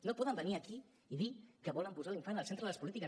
no poden venir aquí i dir que volen posar l’infant al centre de les polítiques